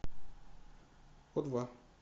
у два